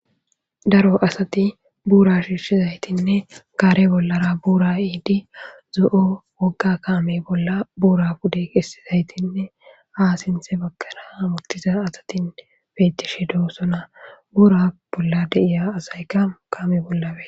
Daro asati buura shiishshizaytinne gaare bollara buura eidi zo'o wogga kaame bolla buura pude kessizaytinne haa sinse bagkana muktiza asatin beettishe doo sona buura bolla deiya asaykakame bollawe.